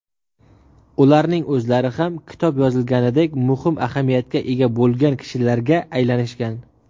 Ularning o‘zlari ham kitob yozilganidek muhim ahamiyatga ega bo‘lgan kishilarga aylanishgan.